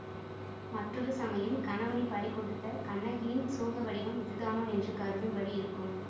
மற்றொரு சமயம் கணவனைப் பறிகொடுத்த கண்ணகியின் சோகவடிவம் இதுதானோ என்று கருதும்படி இருக்கும்